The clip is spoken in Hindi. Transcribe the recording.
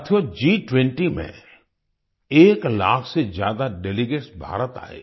साथियो G20 में एक लाख से ज्यादा डेलीगेट्स भारत आए